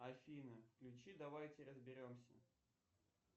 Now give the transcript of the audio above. афина включи давайте разберемся